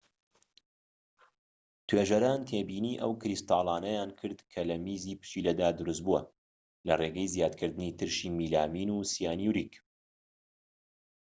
توێژەران تێبینی ئەو کریستاڵانەیان کرد کە لە میزی پشیلەدا دروست بووە لە ڕێگەی زیادکردنی ترشی میلامین و سیانووریک